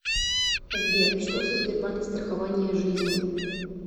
сбер что за сбербанк страхование жизни